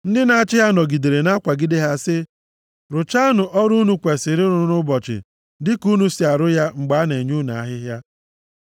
Ndị na-achị ha nọgidere na-akwagide ha sị ha, “Rụchaanụ ọrụ unu kwesiri ịrụ nʼụbọchị dịka unu si arụ ya mgbe a na-enye unu ahịhịa.”